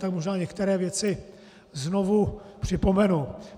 Tak možná některé věci znovu připomenu.